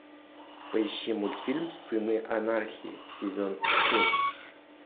поищи мультфильм сыны анархии сезон семь